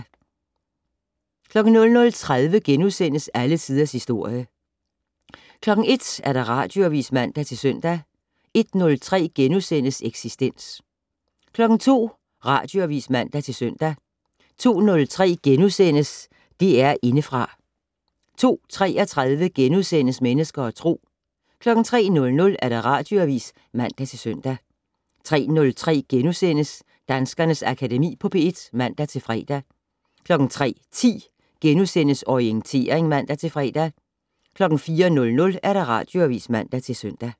00:30: Alle Tiders Historie * 01:00: Radioavis (man-søn) 01:03: Eksistens * 02:00: Radioavis (man-søn) 02:03: DR Indefra * 02:33: Mennesker og Tro * 03:00: Radioavis (man-søn) 03:03: Danskernes Akademi på P1 *(man-fre) 03:10: Orientering *(man-fre) 04:00: Radioavis (man-søn)